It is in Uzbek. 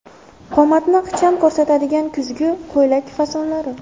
Qomatni ixcham ko‘rsatadigan kuzgi ko‘ylak fasonlari .